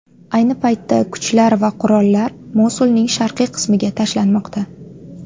Ayni paytda kuchlar va qurollar Mosulning sharqiy qismiga tashlanmoqda.